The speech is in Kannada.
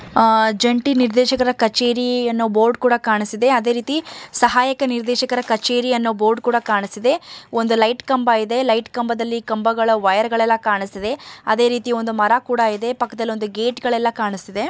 ಜಂಟಿ ನಿರ್ದೇಶಕರ ಕಚೇರಿ ಅನ್ನೋ ಬೋರ್ಡ್ ಕೂಡ ಕಾಣಿಸುತ್ತಿದೆ ಅದೇ ರೀತಿ ಸಹಾಯಕ ನಿರ್ದೇಶಕರ ಕಚೇರಿ ಅನ್ನೋ ಬೋರ್ಡ್ ಕೂಡ ಕಾಣಿಸ್ತಿದೆ ಲೈಟ್ ಕಂಬ ಇದೆ ಲೈಟ್ ಕಂಬದಲ್ಲಿ ಕಂಬಗಳ ವೈರ್ ಗಳೆಲ್ಲ ಕಾಣಿಸ್ತಿದೆ ಅದೇ ರೀತಿ ಒಂದು ಮರ ಕೂಡ ಇದೆ ಪಕ್ಕದಲ್ಲಿ ಒಂದು ಗೇಟ್ ಗಳೆಲ್ಲ ಕೂಡ ಕಾಣಿಸ್ತಿದೆ.